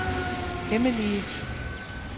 hemmelige